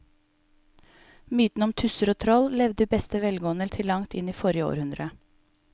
Mytene om tusser og troll levde i beste velgående til langt inn i forrige århundre.